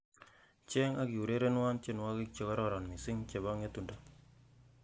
cheng' ak eurerenwon tyenwogik chekororon missing chebo ng'etundo